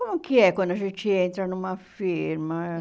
Como que é quando a gente entra numa firma?